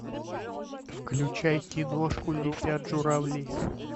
включай киношку летят журавли